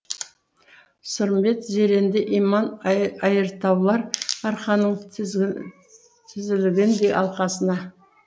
сырымбет зеренді иман айыртаулар арқаның тізілгендей алқасына